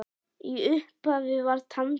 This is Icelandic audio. Í upphafi var tangó.